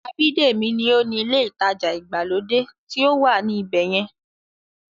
Abídèmí ní ó ni ilé ìtajà ìgbàlódé tí ó wà ní ibẹ̀yẹn